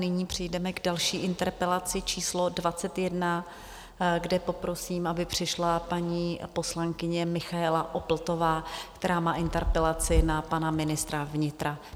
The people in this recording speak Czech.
Nyní přejdeme k další interpelaci číslo 21, kde poprosím, aby přišla paní poslankyně Michaela Opltová, která má interpelaci na pana ministra vnitra.